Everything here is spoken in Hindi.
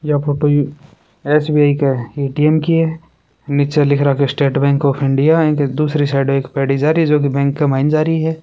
ये फोटो एस_बी_आई के ए_टी_एम की है नीचे लिख राख्यो है स्टेट बैंक ऑफ इण्डिया अ के दूसरी एक पेडी जा रही है जो बैंक के में जा रही है।